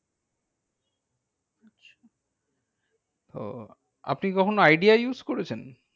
ওহ আপনি কখনো idea use করেছেন?